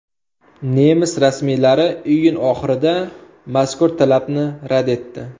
Nemis rasmiylari iyun oxirida mazkur talabni rad etdi.